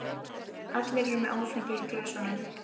Allir eru með áfengi í glösum.